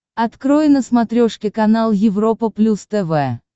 открой на смотрешке канал европа плюс тв